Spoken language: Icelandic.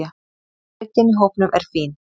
Breiddin í hópnum er fín.